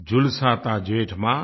झुलसाता जेठ मास